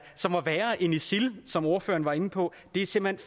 isil eller som ordføreren var inde på er simpelt